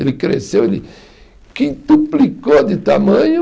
Ele cresceu, ele quintuplicou de tamanho.